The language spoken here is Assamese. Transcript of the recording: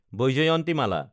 ব্যজয়ন্তিমালা